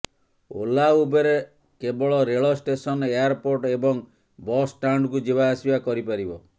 Ola Uber କେବଳ ରେଳ station airport ଏବଂ ବସ୍ ଷ୍ଟାଣ୍ଡକୁ ଯିବା ଆସିବା କରିପାରିବ